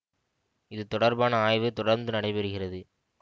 இது தொடர்பான ஆய்வு தொடர்ந்து நடைபெறுகிறது